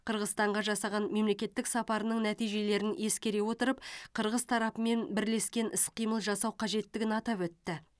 қырғызстанға жасаған мемлекеттік сапарының нәтижелерін ескере отырып қырғыз тарапымен бірлескен іс қимыл жасау қажеттігін атап өтті